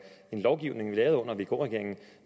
en lovgivning lavet under vk regeringen